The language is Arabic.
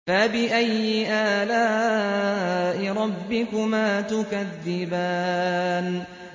فَبِأَيِّ آلَاءِ رَبِّكُمَا تُكَذِّبَانِ